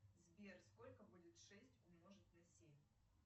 сбер сколько будет шесть умножить на семь